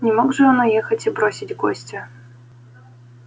не мог же он уехать и бросить гостя